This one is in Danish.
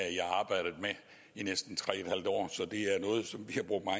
jeg næsten tre